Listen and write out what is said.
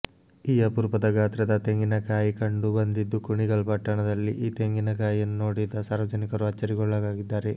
ಈ ಅಪರೂಪ ಗಾತ್ರದ ತೆಂಗಿನ ಕಾಯಿ ಕಂಡು ಬಂದಿದ್ದು ಕುಣಿಗಲ್ ಪಟ್ಟಣದಲ್ಲಿ ಈ ತೆಂಗಿನ ಕಾಯಿಯನ್ನು ನೋಡಿದ ಸಾರ್ವಜನಿಕರು ಅಚ್ಚರಿಗೊಳಗಾಗಿದ್ದಾರೆ